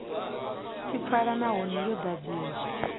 tshi pfala nahone yo ḓadziwa